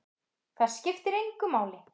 Það skiptir engu máli!